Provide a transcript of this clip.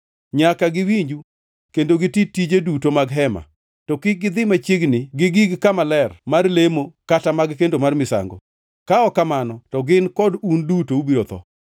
Nyaka giwinju kendo giti tije duto mag Hema, to kik gidhi machiegni gi gig kama ler mar lemo kata mag kendo mar misango, ka ok kamano to gin kod un duto ubiro tho.